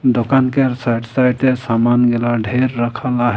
दोकान केर साइड साइडे समान गेला ढेर रखल आहे --